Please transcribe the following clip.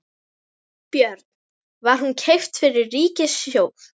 Björn: Var hún keypt fyrir ríkissjóð?